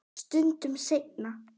Stundum seinna.